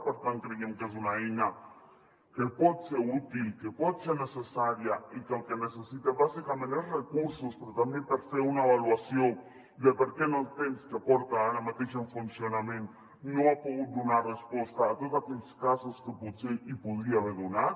per tant creiem que és una eina que pot ser útil que pot ser necessària i que el que necessita bàsicament és recursos però també per fer una avaluació de per què en el temps que porta ara mateix en funcionament no ha pogut donar resposta a tots aquells casos que potser n’hi podria haver donat